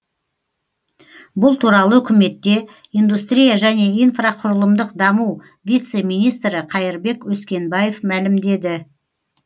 бұл туралы үкіметте индустрия және инфрақұрылымдық даму вице министрі қайырбек өскенбаев мәлімдеді